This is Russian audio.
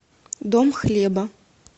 дом хлеба